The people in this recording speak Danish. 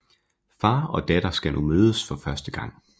Far og datter skal nu mødes for første gang